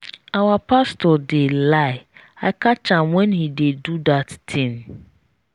our pastor dey lie i catch am when he dey do that thing.